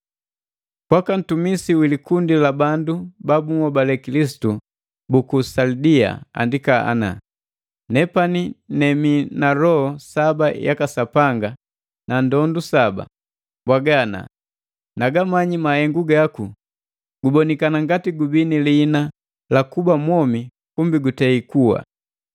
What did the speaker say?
“Kwaka ntumisi wi likundi la bandu ba bunhobale Kilisitu buku Salidi andika ana.” “Nepani nemii na loho saba yaka Sapanga na ndondu saba, mbwaga ana: Nagamanyi mahengu gaku; gubonikana ngati gubii ni liina la kuba mwomi kumbi gutei kuwa!